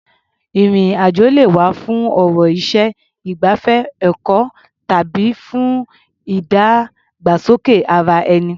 Ìrìn-àjò lè wá̀ fún ọ̀rọ̀ iṣẹ́, ìgbafẹ́, ẹ̀kọ́ tàbí fún ìdàgbàsókè ara-ẹni.